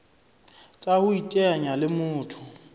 tsa ho iteanya le motho